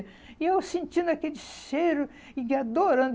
E eu sentindo aquele cheiro e adorando.